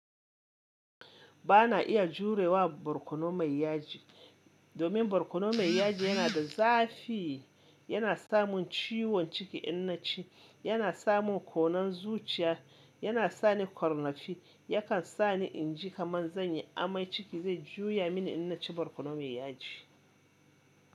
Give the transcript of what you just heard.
Ba na iya jure wa barkono mai yaji, domin barkono mai yaji yana da zafi, yana samun ciwon ciki in na ci. Yana samun konan zuciya, yana sani ƙarnafi, yakan sani inji kaman zan yi amai ciki zai juya mini in na ci barkono mai yaji.